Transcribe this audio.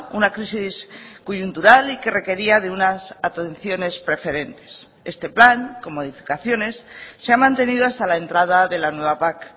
una crisis coyuntural y que requería de unas atenciones preferentes este plan con modificaciones se ha mantenido hasta la entrada de la nueva pac